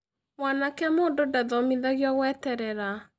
Mwanake mũndũ ndathomithagio gweterera